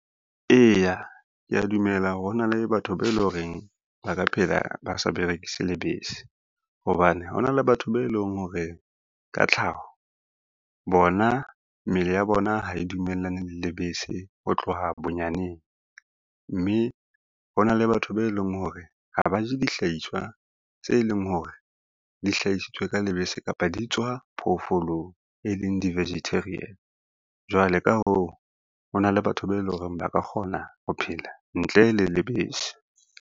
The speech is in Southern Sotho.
Eya, kea dumela hore hona le batho be lo reng ba ka phela ba sa berekise lebese, hobane hona le batho be leng hore ka tlhaho bona mmele ya bona ha e dumellane le lebese ho tloha bonyaneng, mme ho na le batho be leng hore ha ba je dihlahiswa tse leng hore dihlahisitswe ka lebese kapa di tswa phoofolong, e leng di-vegetarian. Jwale ka hoo, ho na le batho be leng hore ba ka kgona ho phela ntle le lebese.